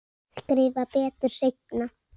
Skrifa betur seinna.